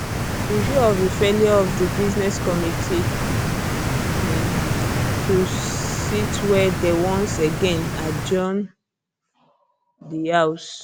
in view of di failure of di business committee um to sit wey dey once again adjourn di house